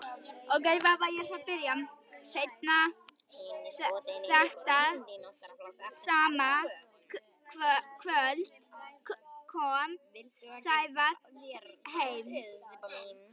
Seinna þetta sama kvöld kom Sævar heim.